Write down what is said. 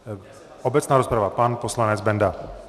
Obecná rozprava, pan poslanec Benda.